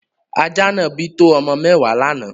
Ajá náà bí to ọmọ mẹ́wàá lánáà.